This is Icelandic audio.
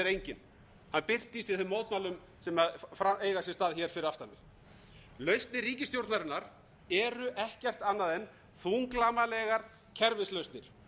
enginn hann birtist í þeim mótmælum sem eiga sér stað hér fyrir aftan mig lausnir ríkisstjórnarinnar eru ekkert annað en þunglamalegar kerfislausnir